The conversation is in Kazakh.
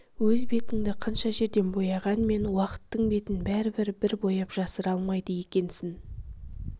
өз бетіңді қанша жерден бояғанмен уақыттың бетін бәрі бір бояп жасыра алмайды екенсің